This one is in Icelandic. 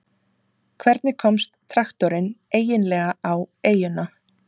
hvernig komst traktorinn eiginlega á eyjuna